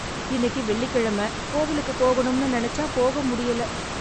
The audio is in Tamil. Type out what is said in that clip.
இன்னைக்கு வெள்ளிக்கிழமை கோவிலுக்கு போகணும்னு நினைச்சா போக முடியல.